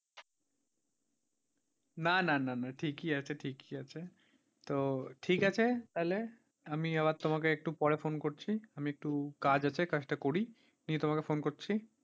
না না না, না ঠিকই আছে, ঠিকই আছে, তো ঠিক আছে তাহলে আমি আবার তোমাকে একটু পরে phone করছি, আমি একটু কাজ আছে কাজটা করি আমি তোমাকে phone করছি।